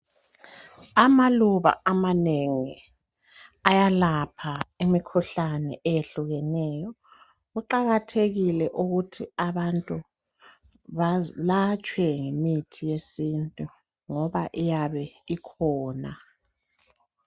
Amaluba amanengi ayelapha imikhuhlane eyehlukeneyo. Kuqakathekile ukuthi abantu belatshwe ngemithi yesiNtu ngoba iyabe ikhona.